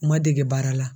N ma dege baara la